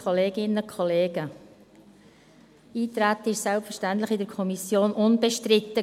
Das Eintreten war in der Kommission selbstverständlich unbestritten.